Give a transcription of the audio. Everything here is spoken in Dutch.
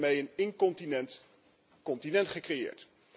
Wij hebben daarmee een incontinent continent gecreëerd.